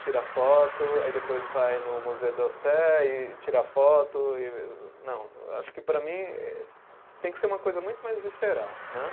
tira foto, aí depois vai no Musée d'Orsay e tira foto, não, acho que para mim tem que ser uma coisa muito mais visceral, né?